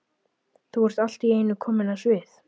Þú ert allt í einu komin á svið?